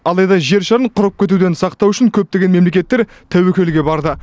алайда жер шарын құрып кетуден сақтау үшін көптеген мемлекеттер тәуекелге барды